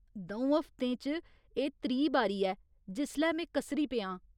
द'ऊं हफ्ते च एह् त्री बारी ऐ जिसलै में कसरी पेआ आं।